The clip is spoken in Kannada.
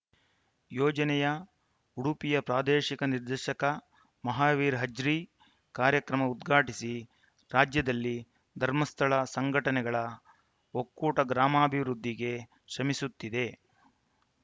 ಯೋಜನೆಯ ಉಡುಪಿಯ ಪ್ರಾದೇಶಿಕ ನಿರ್ದೇಶಕ ಮಹಾವೀರ ಅಜ್ರಿ ಕಾರ್ಯಕ್ರಮ ಉದ್ಘಾಟಿಸಿ ರಾಜ್ಯದಲ್ಲಿ ಧರ್ಮಸ್ಥಳ ಸಂಘಟನೆಗಳ ಒಕ್ಕೂಟ ಗ್ರಾಮಾಭಿವೃದ್ಧಿಗೆ ಶ್ರಮಿಸುತ್ತಿದೆ